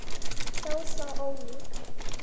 Þó svo ólík.